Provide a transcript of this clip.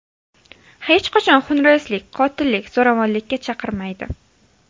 Hech qachon xunrezlik, qotillik, zo‘ravonlikka chaqirmaydi.